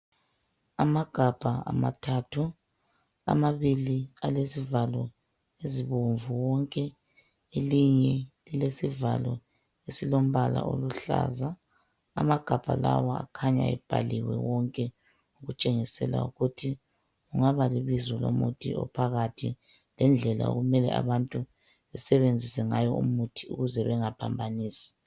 amagabha amathathu amabili alezivao ezibomvu wonke elinye lilesivalo esilombala oluhlaza amagabha lawa akhanya ebhaliwe wonke okutshengisela ukuthi kungaba libizo lomuthi ophakathi lendlela okumele abantu basebenzise ngawo umuthi ukuze bengaphambanisi